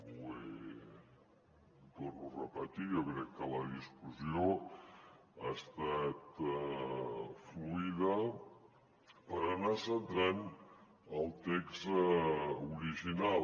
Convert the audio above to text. ho torno a repetir jo crec que la discussió ha estat fluida per anar centrant el text original